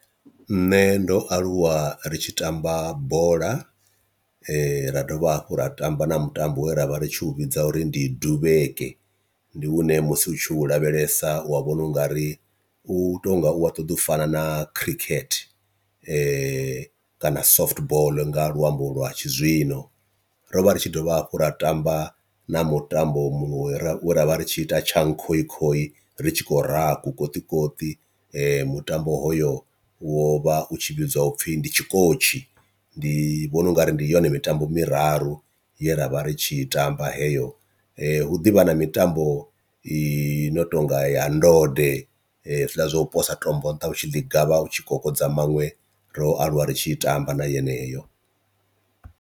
Nṋe ndo aluwa ri tshi tamba bola ra dovha hafhu ra tamba na mutambo we ra vha ri tshi u vhidza uri ndi duvheke, ndi hune musi utshi u lavhelesa u wa vhona u nga ri u tonga u a ṱoḓo u fana na khirikhethe kana soft ball nga luambo lwa tshizwino. Ro vha ri tshi dovha hafhu ra tamba na mutambo muṅwe ravha ri tshi ita tshankhokhoi ri tshi khou raha kukoṱikoṱi mutambo hoyo wo vha u tshi vhidzwa upfhi ndi tshikotshi, ndi vhona ungari ndi yone mitambo miraru ye ravha ri tshi i tamba heyo, hu ḓivha na mitambo i no tonga ya ndode hezwila zwa u posa tombo nṱha hutshi ḽi gavha utshi kokodza maṅwe ro aluwa ri tshi i tamba na yeneyo.